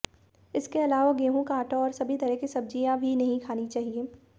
इसके अलावा गेहूं का आटा और सभी तरह की सब्जियां भी नहीं खानी चाहिए